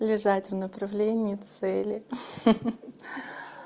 лежать в направлении цели ха-ха